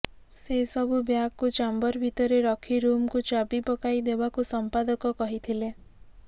ସେସବୁ ବ୍ୟାଗକୁ ଚାମ୍ବର ଭିତରେ ରଖି ରୁମ୍କୁ ଚାବି ପକାଇଦେବାକୁ ସମ୍ପାଦକ କହିଥିଲେ